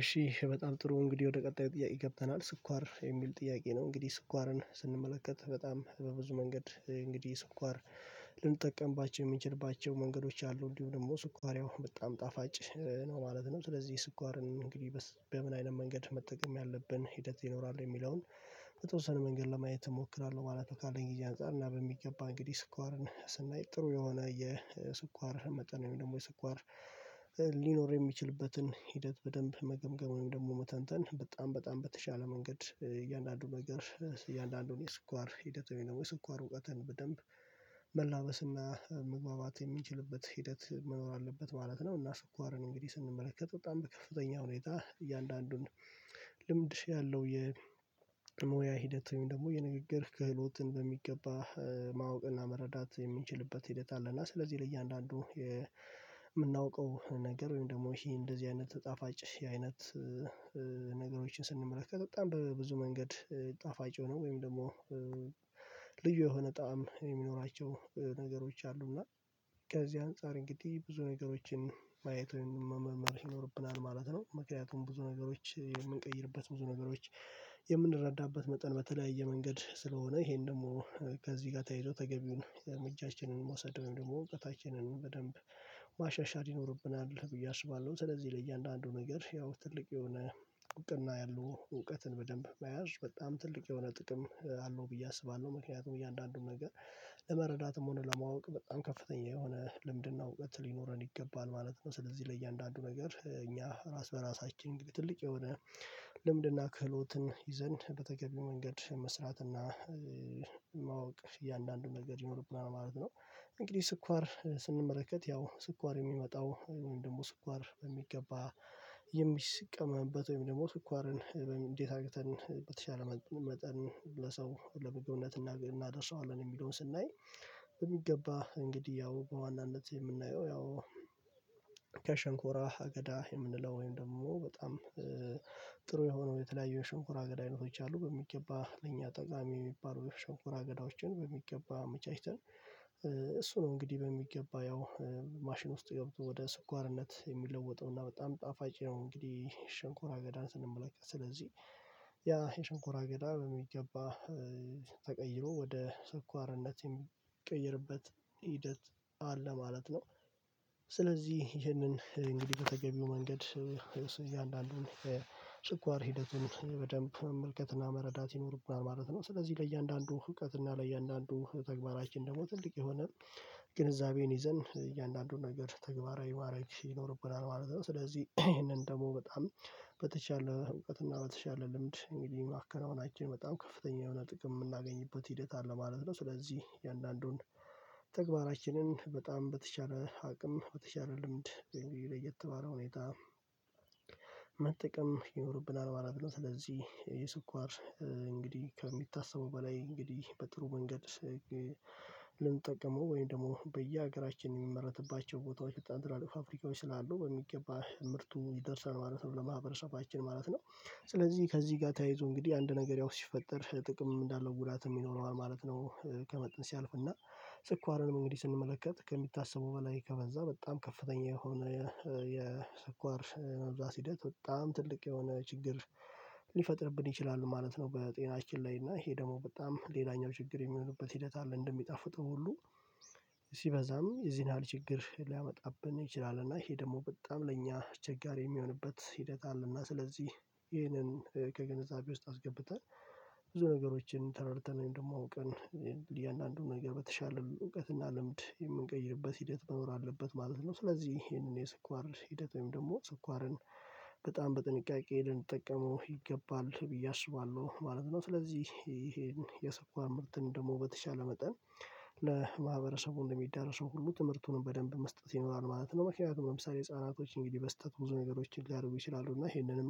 እሺ በጣም ጥሩ እንግዲህ ወደ ቀጣዩ ጥያቄ ገብተናል ስኳር የሚል ጥያቄ ነው እንግዲህ ስኳርን ስንመለከት በጣም በብዙ መንገድ እንግዲህ ስኳር ልንጠቀምባቸው የምንችልባቸው መንገዶች አሉ እንዲሁ ደግሞ ስኳር ያው በጣም ጣፋጭ ነው ማለት ነው ስለዚህ ስኳርን እንግዲህ በምን አይነት መንገድ መጠቀም ያለብን ሂደት ይኖራል የሚለውን በጦሰን መንገድ ለማየት እሞክራለሁ ማለት ነው። ካለኝ ጊዜ አንፃር እና በሚገባ እንግዲህ ስኳርን ስናይ ጥሩ የሆነ የስኳር መጠኑ ደግሞ የስኳር ሊኖር የሚችልበትን ሂደት በደንብ መገምገም ወይም ደግሞ መተንተን በጣም በጣም በተሻለ መንገድ እያንዳንዱ ነገር እያንዳንዱን የስኳር ሂደት ወይም ደግሞ የስኳር እውቀትን በደንብ መላበስና መግባባት የሚችልበት ሂደት መኖር አለበት ማለት ነው። እና ስኳርን እንግዲህ ስንመለከት በጣም በከፍተኛ ሁኔታ እያንዳንዱን ልምድ ያለው የሞያ ሂደት ወይም ደግሞ የንግግር ክህሎትን በሚገባ ማወቅና መረዳት የሚችልበት ሂደት አለና ስለዚህ ለእያንዳንዱ የምናውቀው ነገር ወይም ደግሞ ይሄ እንደዚህ አይነት ጣፋጭ ይህን አይነት ነገሮችን ስንመለከት በጣም በብዙ መንገድ ጣፋጭ ሆኖ ወይም ደግሞ ልዩ የሆነ ጣዕም የሚኖራቸው ነገሮች አሉ እና ከዚህ አንፃር እንግዲህ ብዙ ነገሮችን ማየት መመርመር ይኖርብናል ማለት ነው። ምክንያቱም ብዙ ነገሮች የምንቀይርበት ብዙ ነገሮች የምንረዳበት መጠን በተለያየ መንገድ ስለሆነ ይሄን ደግሞ ከዚህ ጋር ተያይዞ ተገቢውን እጃችንን ማሳደግ ደግሞ እውቀታችንን በደንብ ማሻሻል ይኖርብናል ብዬ አስባለሁ። ስለዚህ ለእያንዳንዱ ነገር ያው ትልቅ የሆነ እውቀትና ያለው እውቀትን በደንብ መያዝ በጣም ትልቅ የሆነ ጥቅም አለው ብዬ አስባለሁ ምክንያቱም እያንዳንዱን ነገር ለመረዳትም ሆነ ለማወቅ በጣም ከፍተኛ የሆነ ልምድናው እውቀት ሊኖረን ይገባል ማለት ነው። ስለዚህ ለእያንዳንዱ ነገር እኛ ራስ በራሳችን ግብ ትልቅ የሆነ ልምድና ክህሎትን ይዘን በተገቢ መንገድ መስራትና ማወቅ እያንዳንዱን መንገድ ይኖርብናል ማለት ነው። እንግዲህ ስኳር ስንመለከት ያው ስኳር የሚመጣው ወይም ደግሞ ስኳር በሚገባ የሚስቀመበት ወይም ደግሞ ትኳርን እንዴት አግተን በተሻለ መጠን ለሰው ለመገንነት እናደርሰዋለን የሚለውን ስናይ በሚገባ እንግዲህ ያው በዋናነት የምናየው ያው ከሸንኮራ አገዳ የምንለው ወይም ደግሞ በጣም ጥሩ የሆነው የተለያየ ሽንኩራ ገዳይነቶች አሉ በሚገባ ለኛ ጠቃሚ የሚባለው የሸንኮራ አገዳዎችን በሚገባ አመቻችተን እሱ ነው እንግዲህ በሚገባ ያው ማሽን ውስጥ ገብቶ ወደ ስኳርነት የሚለወጠው እና በጣም ጣፋጭ ነው እንግዲህ ሽንኮራ አገዳን ስንመለከት ስለዚህ ያ የሽንኩራ ገዳም በሚገባ ተቀይሮ ወደ ሰኳርነት የሚቀይርበት ሂደት አለ ማለት ነው ስለዚህ ይህንን እንግዲህ በተገቢው መንገድ እያንዳንዱን በስኳር ሂደትን በደንብ መልከትና መረዳት ይኖርብናል ማለት ነው። ስለዚህ ለእያንዳንዱ እውቀትና ለእያንዳንዱ ተግባራችን ደግሞ ትልቅ የሆነ ግንዛቤን ይዘን እያንዳንዱን ነገር ተግባራዊ ማረግ ይኖርብናል ማለት ነው ስለዚህ ይሄንን ደግሞ በጣም በተቻለ እውቀት እና በተቻለ ልምድ እንግዲህ ማከናወናችን በጣም ከፍተኛ የሆነ ጥቅም የምናገኝበት ሂደት አለ ማለት ነው። ስለዚህ የአንዳንዱን በጣም በተቻለ አቅም በተቻለ ልምድ እንዲሁም ለየት ባለ ሁኔታ መጠቀም ይኖርብናል ማለት ነው ስለዚህ የስኳር እንግዲህ ከሚታበው በላይ እንግዲህ በጥሩ መንገድ ልንጠቀመው ወይም ደግሞ በየሀገራችን የሚመረትባቸው ቦታዎች ወጣት ይላል ፋብሪካውን ስላለው በሚገባ ምርቱ ይደርሳል ማለት ነው ለማህበረሰባችን ማለት ነው። ስለዚህ ከዚህ ጋር ተያይዞ እንግዲህ አንድ ነገር ያው ሲፈጠር ጥቅም እንዳለው ጉዳት የሚኖረዋል ማለት ነው ከመጠን ሲያልፍና ስኳርንም እንግዲህ ስንመለከት ከሚታሰቡ በላይ ከበዛ በጣም ከፍተኛ የሆነ የሰኳር መብዛት ሂደት በጣም ትልቅ የሆነ ችግር ሊፈጥርብን ይችላል ማለት ነው። በጤናችን ላይ እና ይሄ ደግሞ በጣም ሌላኛው ችግር የሚሆንበት ሂደት አለ እንደሚጣፍጥህ ሁሉ ሲበዛም የዚህን ያህል ችግር ሊያመጣብን ይችላል እና ይሄ ደግሞ በጣም ለእኛ አስቸጋሪ የሚሆንበት ሂደት አለና ስለዚህ ይሄንን ከግንዛቤ ውስጥ አስገብተን ብዙ ነገሮችን ተረድተን ወይም ደግሞ አውቀን የእያንዳንዱን ነገር በተሻለ እውቀትና ልምድ የምንቀይርበት ሂደት መኖር አለበት ማለት ነው። ስለዚህ ይሄንን የስኳር ሂደት ወይም ደግሞ ስኳርን በጣም በጥንቃቄ ልንጠቀመው ይገባል ብዬ አስባለሁ ማለት ነው። ስለዚህ ይሄን የሰኳር ምርትን ደግሞ በተቻለ መጠን ለማህበረሰቡ እንደሚዳረሱ ሁሉ ትምህርቱንም በደንብ መስጠት ይኖራል ማለት ነው። መኪና ለምሳሌ ህፃናቶች እንግዲህ በስህተት ብዙ ነገሮችን ሊያደርጉ ይችላሉ እና ይሄንንም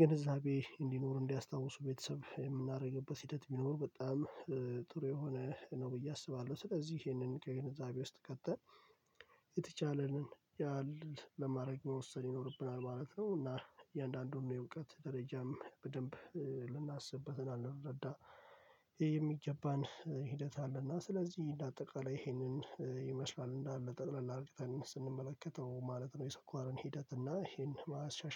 ግንዛቤ እንዲኖር እንዲያስታውሱ ቤተሰብ የምናደርግበት ሂደት ቢኖር በጣም ጥሩ የሆነ ነው ብዬ አስባለሁ ስለዚህ ይሄንን ከግንዛቤ ውስጥ ከተን የተቻለንን ያህል ለማድረግ መውሰድ ይኖርብናል ማለት ነው። እና እያንዳንዱን የእውቀት ደረጃም በደንብ ልናስብበት እና ልንረዳ ይሄ የሚገባን ሂደት አለና ስለዚህ እንደ አጠቃላይ ይሄንን ይመስላል እንዳለ በጠቅላላ አርግተን ስንመለከተው ማለት ነው የሰኳርን ሂደት እና ይሄን ማሻሻል